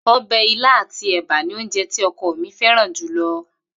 O̩bè̩ ilá àti è̩bà ni oúnje tí o̩ko̩ mi féràn jù lo̩